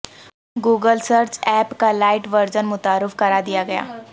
Google search app کا lite version متعارف کرادیا گیا